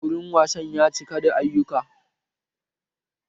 Wurin wasan ya cika da ayyuka